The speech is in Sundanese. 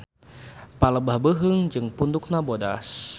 Palebah beuheung jeung pundukna bodas.